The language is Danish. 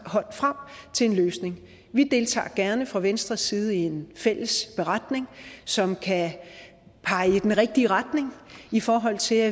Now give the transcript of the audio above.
hånden frem til en løsning vi deltager gerne fra venstres side i en fælles beretning som kan pege i den rigtige retning i forhold til